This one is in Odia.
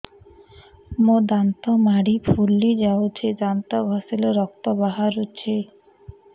ମୋ ଦାନ୍ତ ମାଢି ଫୁଲି ଯାଉଛି ଦାନ୍ତ ଘଷିଲେ ରକ୍ତ ବାହାରୁଛି